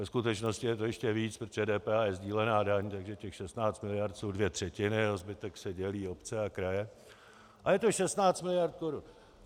Ve skutečnosti je to ještě víc, protože DPH je sdílená daň, takže těch 16 miliard jsou dvě třetiny, o zbytek se dělí obce a kraje, ale je to 16 miliard korun.